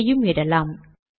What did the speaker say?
இங்கேயும் இடலாம்